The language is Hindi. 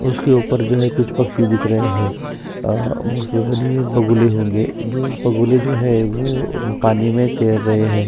उसके ऊपर जो है कुछ पक्षी दिख रहै है अ बगुले होंगे जो बगुले जो है वो पानी में तैर रहै हैं।